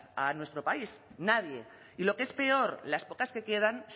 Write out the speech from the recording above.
a nuestro país nadie y lo que es peor las pocas que quedan